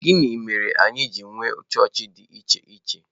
Gịnị mere anyị ji nwee chọọchị dị iche iche?